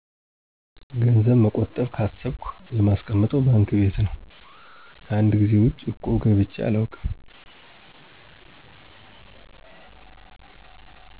ገንዘብ መቆጠብ ካሰብኩ የማስቀምጠው ባንክ ቤት ነው። ከአንድ ጊዜ ውጭ እቁብ ገብቼ አላውቅም።